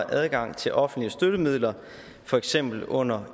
adgang til offentlige støttemidler for eksempel under